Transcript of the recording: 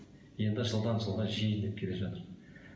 енді жылдан жылға жиілеп келе жатыр